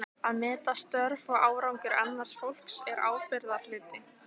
Að meta störf og árangur annars fólks er ábyrgðarhluti.